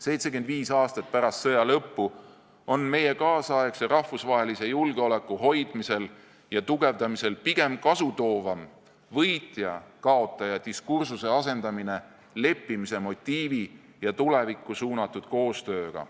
75 aastat pärast sõja lõppu on meie kaasaegse rahvusvahelise julgeoleku hoidmisel ja tugevdamisel pigem kasutoovam võitja-kaotaja diskursuse asendamine leppimise motiivi ja tulevikku suunatud koostööga.